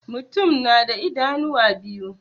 Mutum na da idanuwa biyu.